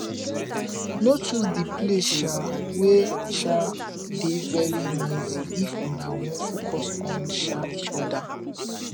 no choose di place um wey um dey very noisy if una wan focus on um each oda